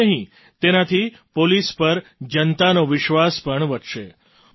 એટલું જ નહીં તેનાથી પોલીસ પર જનતાનો વિશ્વાસ પણ વધશે